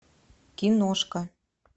киношка